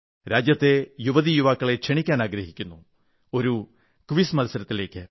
രാജ്യത്തെ യുവതീ യുവാക്കളെ ക്ഷണിക്കാനാഗ്രഹിക്കുന്നു ഒരു ക്വിസ് മത്സരത്തിലേക്ക്